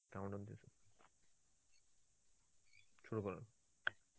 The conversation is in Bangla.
শুরু করো.